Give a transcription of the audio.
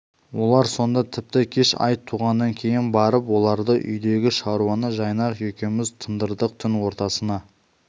олар сонда тіпті кеш ай туғаннан кейін барып оралды үйдегі шаруаны жайнақ екеуміз тындырдық түн ортасына